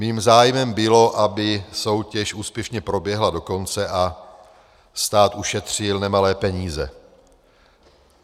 Mým zájmem bylo, aby soutěž úspěšně proběhla do konce a stát ušetřil nemalé peníze.